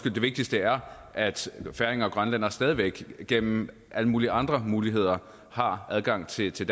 at det vigtigste er at færinger og grønlændere stadig væk gennem alle mulige andre muligheder har adgang til til